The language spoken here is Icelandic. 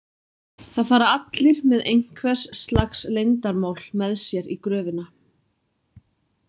Það fara allir með einhvers slags leyndarmál með sér í gröfina.